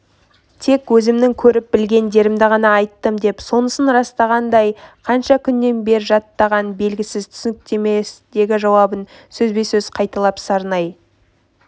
тек өзімнің көріп-білгендерімді ғана айттым деп сонысын растағандай қанша күннен бер жаттағаны белгісіз түсініктемедегі жауабын сөзбе-сөз қайталап сарнай